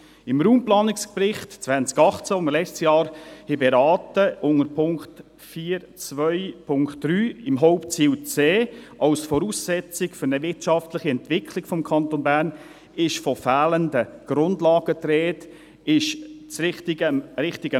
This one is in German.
Im Raumplanungsbericht 2018, den wir im letzten Jahr beraten haben, ist unter Punkt 4.2.3, beim Hauptziel C als Voraussetzung für eine wirtschaftliche Entwicklung des Kantons Bern von fehlenden Grundlagen die Rede.